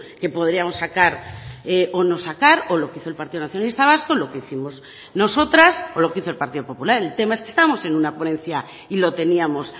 que podríamos sacar o no sacar o lo que hizo el partido nacionalista vasco lo que hicimos nosotras o lo que hizo el partido popular el tema es que estamos en una ponencia y lo teníamos